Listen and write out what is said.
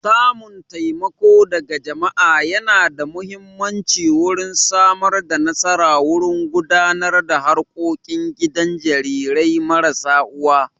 Samun taimako daga jama'a yana da muhimmanci wurin Samar da nasara wurin gudanar da harkokin gidan jarirai marasa uwa